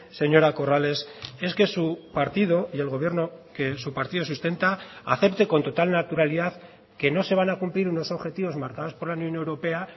señora corrales es que su partido y el gobierno que su partido sustenta acepte con total naturalidad que no se van a cumplir unos objetivos marcados por la unión europea